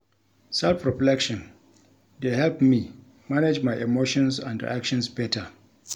Self-reflection dey help me manage my emotions and reactions better.